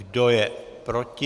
Kdo je proti?